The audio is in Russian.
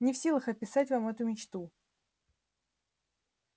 не в силах описать вам эту мечту